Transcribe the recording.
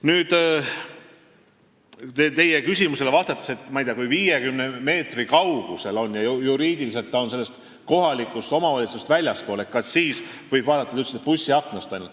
Nüüd vastan teie küsimusele, et kui see on ainult 50 meetri kaugusel, kuigi juriidiliselt sellest kohalikust omavalitsusest väljaspool, kas siis võib vaadata, nagu te ütlesite, ainult bussiaknast.